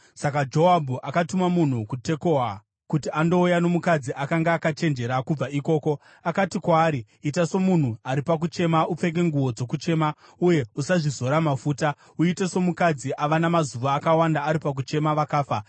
Saka Joabhu akatuma munhu kuTekoa kuti andouya nomukadzi akanga akachenjera kubva ikoko. Akati kwaari, “Ita somunhu ari pakuchema. Upfeke nguo dzokuchema uye usazvizora mafuta. Uite somukadzi ava namazuva akawanda ari pakuchema vakafa.